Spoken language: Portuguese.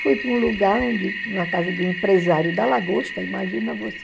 Fui para um lugar onde, na casa do empresário da Lagosta, imagina você.